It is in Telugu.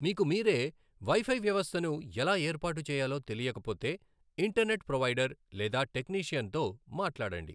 మీకు మీరే వైఫై వ్యవస్థను ఎలా ఏర్పాటు చేయాలో తెలియకపోతే ఇంటర్నెట్ ప్రొవైడర్ లేదా టెక్నీషియన్తో మాట్లాడండి.